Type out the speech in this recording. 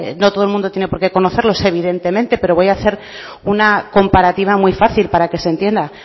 no todo el mundo tiene por qué conocerlo evidentemente pero voy a hacer una comparativa muy fácil para que se entienda